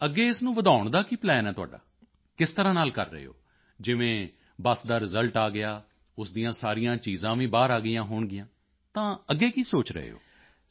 ਅੱਗੇ ਇਸ ਨੂੰ ਵਧਾਉਣ ਦਾ ਕੀ ਪਲਾਨ ਹੈ ਤੁਹਾਡਾ ਕਿਸ ਤਰ੍ਹਾਂ ਨਾਲ ਕਰ ਰਹੇ ਹੋ ਜਿਵੇਂ ਬੱਸ ਦਾ ਰਿਜ਼ਲਟ ਆ ਗਿਆ ਉਸ ਦੀਆਂ ਸਾਰੀਆਂ ਚੀਜ਼ਾਂ ਵੀ ਬਾਹਰ ਆ ਗਈਆਂ ਹੋਣਗੀਆਂ ਤਾਂ ਅੱਗੇ ਕੀ ਸੋਚ ਰਹੇ ਹੋ